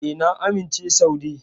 E, na amince Saude.